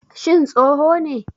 Shin tsoho ne?